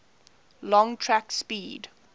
long track speed